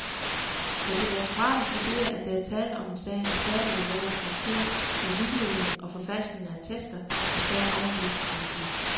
Da direktoratet vurderer, at der er tale om en sag af særlig alvorlig karakter med vildledning og forfalskninger af attester, er sagen overgivet til politiet.